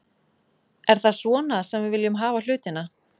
Er það svona sem við viljum hafa hlutina?